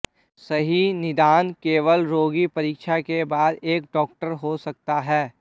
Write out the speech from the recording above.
सही निदान केवल रोगी परीक्षा के बाद एक डॉक्टर हो सकता है